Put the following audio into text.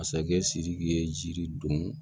Masakɛ sidiki ye jiri don